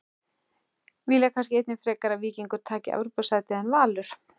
Vilja kannski einnig frekar að Víkingur taki Evrópusætið en Valur?